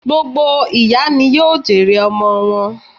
Gbogbo ìyá ni yóò jèrè ọmọ wọn